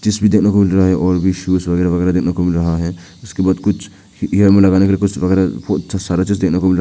देखने को मिल रहा है और भी शूज वगैर वगैरा वगैरा देखने को मिल रहा है उसके बाद कुछ ईयर में लगाने के कुछ वगैर ओ सारा चीज देखने को मिल रहा है।